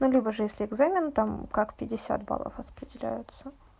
ну либо же если экзамен там как пятьдесят баллов распределяются